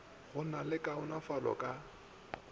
go na le kaonafalo ka